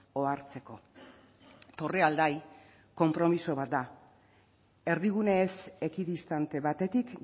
ohartzeko torrealdai konpromiso bat da erdigune ez ekidistante batetik